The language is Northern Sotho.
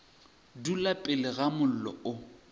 dula pele ga mollo o